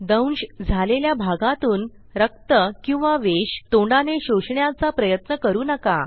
दंश झालेल्या भागातून रक्त किंवा विष तोंडाने शोषण्याचा प्रयत्न करू नका